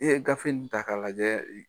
I ye gafe in ta k'a lajɛ,